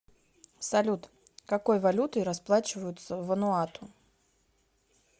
салют какой валютой расплачиваются в вануату